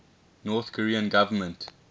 north korean government